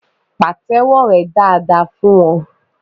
Pàtẹ́wọ́ rẹ dáadáa fún wọn!